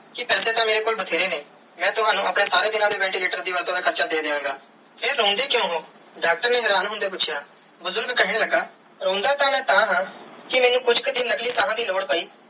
ਕੇ ਪੈਸੇ ਤੇ ਮੇਰੇ ਕੋਲ ਬੈਤੇਰੇ ਨੇ ਮੈਂ ਤਵਣੁ ਆਪਣੇ ਸਾਰੇ ਦੀਨਾ ਦੇ ventilator ਦਾ ਵੱਧ ਤੂੰ ਵੱਧ ਹਾਰਚਾ ਦੇ ਦੀਆ ਗਏ ਫਿਰ ਰੋਂਦੇ ਕ੍ਯੂਂ ਹੋ ਡਾਕਟਰ ਨੇ ਹੀਰਾਂ ਹੋਂਦੇ ਪੂਛਿਆ ਬੁਜ਼ਰਗ ਕੇਹਨ ਲਗਾ ਰੋਂਦਾ ਤੇ ਮੈਂ ਤਹਾ ਕੇ ਮੈਨੂੰ ਕੁਛ ਕਿ ਦਿਨ ਨਕਲੀ ਸਾਹ ਦੀ ਲੋੜ ਪੈ.